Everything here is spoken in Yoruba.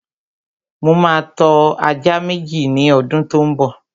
Mo ma tọ́ ajá Méjì ní ọdún tó ḿ bọ̀